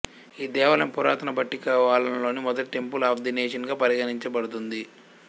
ఈ దేవాలయం పురాతన బట్టికలోవాలోని మొదటి టెంపుల్ ఆఫ్ ది నేషన్ గా పరిగణించబడుతుంది